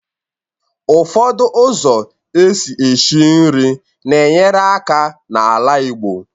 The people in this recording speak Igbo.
Ụfọdụ ụzọ esi eshi nri na-enyere aka n'ala igbo